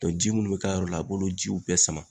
ji munnu bɛ k'a yɔrɔ la a b'olu jiw bɛɛ sama.